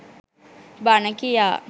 බණ කියා